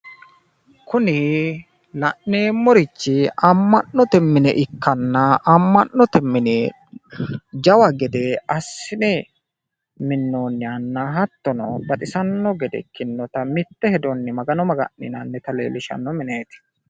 kuni la'neemmorichi ama'note mine ikkanna amma'note mine jawa gede assine minnoonihanna hattono baxissanno gede ikkinota mitte hedonni magano maga'nninanita leellishanno mineeti.